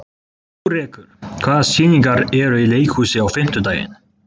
Kórekur, hvaða sýningar eru í leikhúsinu á fimmtudaginn?